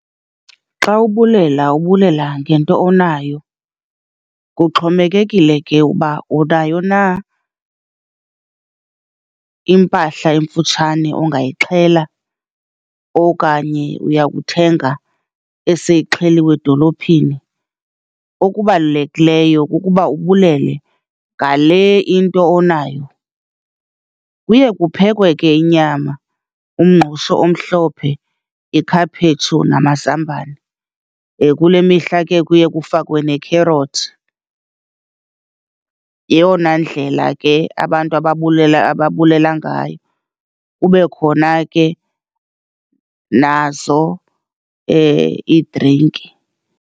Xa ubulela ubulela ngento onayo. Kuxhomekekile ke uba unayo na impahla emfutshane ongayixhela okanye uya kuthenga eseyixheliwe edolophini, okubalulekileyo kukuba ubulele ngale into onayo. Kuye kuphekwe ke inyama, umngqusho omhlophe, ikhaphetshu namazambane, kule mihla ke kuye kufakwe nekherothi. Yeyona ndlela ke abantu ababulela, ababulela ngayo, kube khona ke nazo iidrinki.